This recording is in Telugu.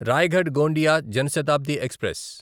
రాయగడ్ గోండియా జన్ శతాబ్ది ఎక్స్ప్రెస్